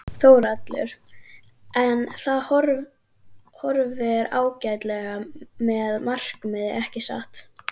Þórhallur: En það horfir ágætlega með markaði ekki satt?